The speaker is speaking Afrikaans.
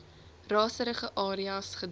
raserige areas gedra